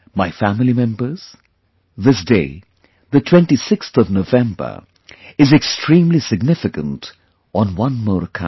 My family members, this day, the 26th of November is extremely significant on one more account